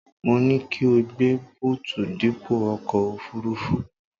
Mo ní kí o gbé bóòtù dípò ọkọ̀ òfuurufú